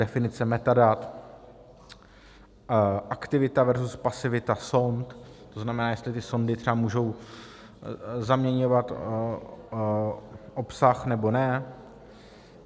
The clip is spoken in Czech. Definice metadat, aktivita versus pasivita sond, to znamená, jestli ty sondy třeba můžou zaměňovat obsah, nebo ne.